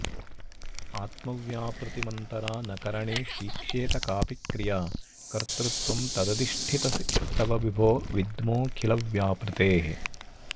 आत्मव्यापृतिमन्तरा न करणेष्वीक्ष्येत कापि क्रिया कर्तृत्वं तदधिष्ठितेस्तव विभो विद्मोऽखिलव्यापृतेः